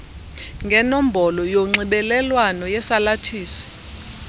ngenombolo yonxibelelwano yesalathisi